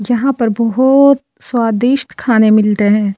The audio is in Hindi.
यहां पर बहोत स्वादिष्ट खाने मिलते हैं।